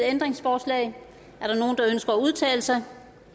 ændringsforslag er der nogen der ønsker at udtale sig